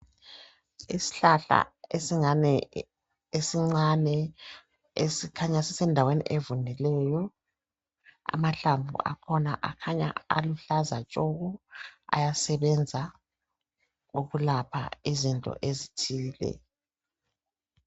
Isihlahla esingani esincane esikhanya sisendaweni evundileyi. Amahlamvu akhona akhanya aluhlaza tshoko ayasebenza ukulapha izinto ezitshiyeneyo